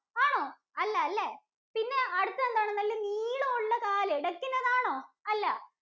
ആണോ? അല്ല അല്ലേ, പിന്നെ അടുത്താതെന്താണ്? നല്ല നീളമുള്ള കാല് Duck ഇന് അതാണോ? അല്ല.